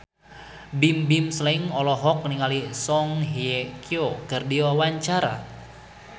Bimbim Slank olohok ningali Song Hye Kyo keur diwawancara